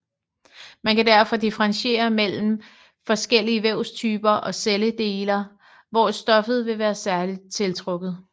Man kan derfor differentiere imellem forskellige vævstyper og celledeler hvor stoffer ville være særligt tiltrukket